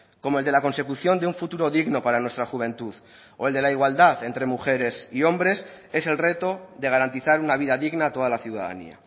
como el de la consecución de un futuro digno para nuestra juventud o el de la igualdad entre mujeres y hombres es el reto de garantizar una vida digna a toda la ciudadanía